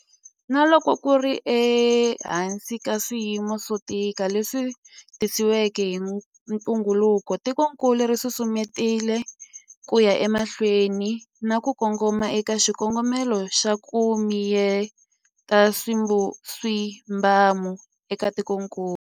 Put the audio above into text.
Na loko ku ri ehansi ka swiyimo swo tika leswi tisiweke hi ntungukulu, tikokulu ri susumetile ku ya emahlweni na ku kongoma eka xikongomelo xa 'ku mi yeta swibamu' eka tikokulu.